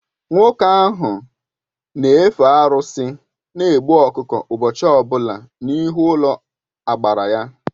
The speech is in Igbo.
Nwoke ahụ n'efe arụsị na egbu ọkụkọ ụbọchị ọbụla n'ihu ụlọagbara ya.